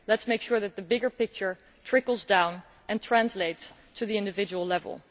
Let us make sure that the bigger picture trickles down and translates to the individual level.